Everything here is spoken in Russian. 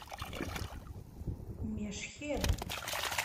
мешхед